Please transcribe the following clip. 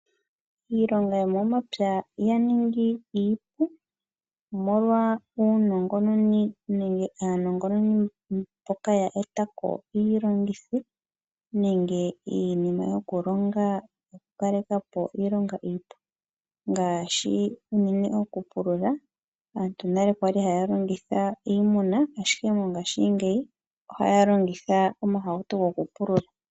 Iilonga yomomapya ya ningi iipu, omolwa uunongononi nenge aanongononi mboka ya eta ko iilongitho nenge iinima yokulonga yokukaleka po iilonga iipu, ngaashi unene okupulula. Aantu nale oya li haya longitha iimuna, ashike mongashingeyi ohaya longitha omahauto gokupulula.